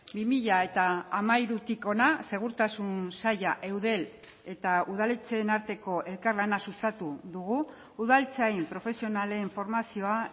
bi mila hamairutik hona segurtasun saila eudel eta udaletxeen arteko elkarlana sustatu dugu udaltzain profesionalen formazioa